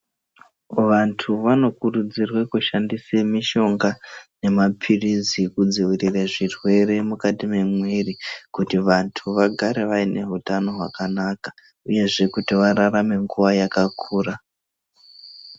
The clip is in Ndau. Vantu vanokurudzirwe kushandise mishonga nemaphirizi kudzivirire zvirwere mukati mwemwiri. Kuti vantu vagare vaine hutano hwakanaka, uyezve kuti vararame nguva yakakura.